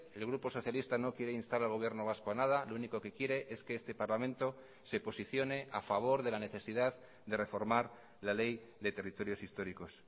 el grupo socialista no quiere instar al gobierno vasco a nada lo único que quiere es que este parlamento se posicione a favor de la necesidad de reformar la ley de territorios históricos